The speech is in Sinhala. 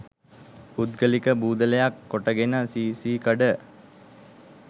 පුද්ගලික බූදලයක් කොටගෙන සී සී කඩ